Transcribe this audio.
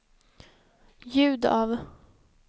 ljud av